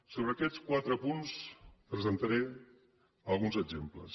sobre aquests quatre punts presentaré alguns exemples